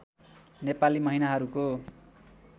Nepali महिनाहरूको